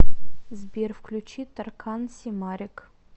сбер включи таркан симарик